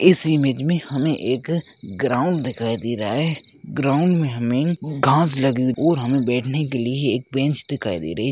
इस इमेज हमें एक ग्राउंड दिखाई दे रहा है ग्राउंड में हमें घास लगी हुई और हमें बैठने के लिए एक बेंच दिखाई दे रही है।